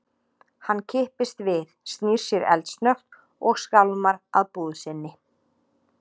Hann kippist við, snýr sér eldsnöggt og skálmar að búð sinni.